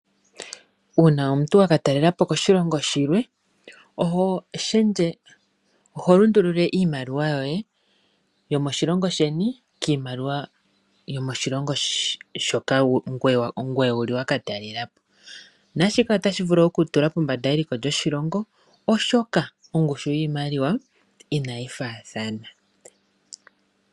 Uuna omuntu waka talela po koshilongo shilwe, oho shendje, oho lundulula iimaliwa yoye yomoshilongo sheni kiimaliwa yomoshilongo shoka ngoye wuli waka talela po, naashika otashi vulu oku tula pombanda eliko lyoshilongo oshoka ongushu yiimaliwa inayi faathana.